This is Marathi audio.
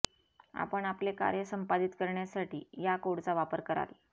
आपण आपले कार्य संपादित करण्यासाठी या कोडचा वापर कराल